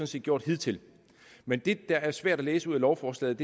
set gjort hidtil men det der er svært at læse ud af lovforslaget